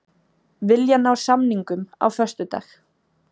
Vilja ná samningum á föstudag